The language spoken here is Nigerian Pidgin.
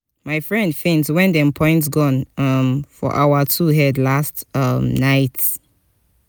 my friend faint wen dem point gun um for our two head last um night.